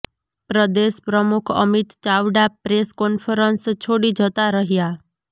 પ્રદેશ પ્રમુખ Amit Chavda press conference છોડી જતાં રહ્યાં